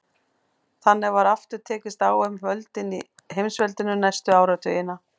Þannig var aftur tekist á um völdin í heimsveldinu næstu áratugina.